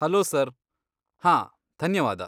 Hello sir! ಹಾಂ, ಧನ್ಯವಾದ.